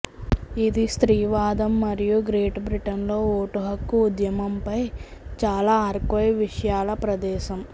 ఇది స్త్రీవాదం మరియు గ్రేట్ బ్రిటన్లో ఓటుహక్కు ఉద్యమంపై చాలా ఆర్కైవ్ విషయాల ప్రదేశం